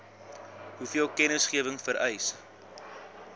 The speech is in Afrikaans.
hoeveel kennisgewing vereis